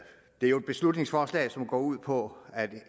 jo et beslutningsforslag som går ud på at